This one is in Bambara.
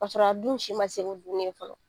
k'a sɔrɔ a dun si ma se ko dumuni ye fɔlɔ